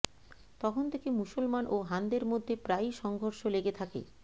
তখন থেকে মুসলমান ও হানদের মধ্যে প্রায়ই সংঘর্ষ লেগে থাকে